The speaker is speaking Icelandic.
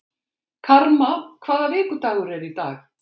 Karma, hvaða vikudagur er í dag?